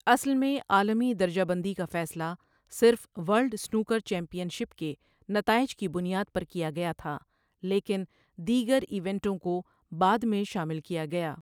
اصل میں، عالمی درجہ بندی کا فیصلہ صرف ورلڈ سنوکر چیمپئن شپ کے نتائج کی بنیاد پر کیا گیا تھا، لیکن دیگر ایونٹوں کو بعد میں شامل کیا گیا۔